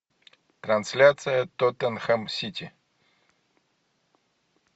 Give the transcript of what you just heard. трансляция тоттенхэм сити